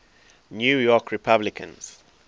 new york republicans